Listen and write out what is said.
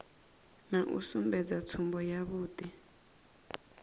na u sumbedza tsumbo yavhui